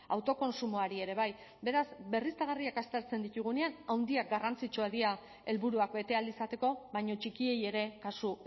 autokontsumoari ere bai beraz berriztagarriak aztertzen ditugunean handiak garrantzitsuak dira helburuak bete ahal izateko baina txikiei ere kasu